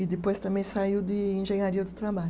E depois também saiu de engenharia do trabalho.